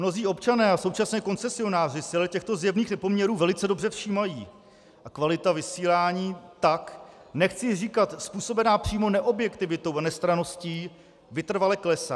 Mnozí občané a současně koncesionáři si ale těchto zjevných nepoměrů velice dobře všímají a kvalita vysílání tak, nechci říkat způsobená přímo neobjektivitou a nestranností, vytrvale klesá.